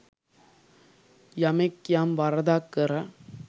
යමෙක් යම් වරදක් කර